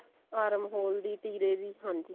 arm hole ਦੀ ਟੀਰੇ ਦੀ ਹਾਂਜੀ